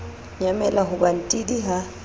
nyamela ho ba ntidi ha